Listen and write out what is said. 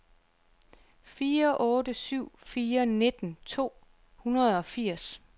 fire otte syv fire nitten to hundrede og firs